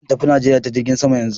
Zan tafi Najeriya ta jirgin sama yanzu.